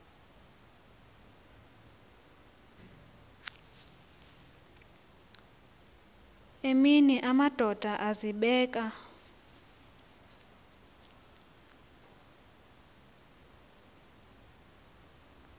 emini amadoda azibeka